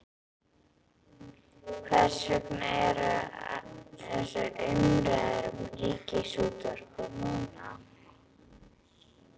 Hvers vegna eru þessar umræður um Ríkisútvarpið núna?